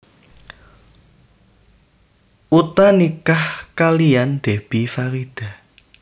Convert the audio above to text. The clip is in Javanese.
Utha nikah kaliyan Debbie Farida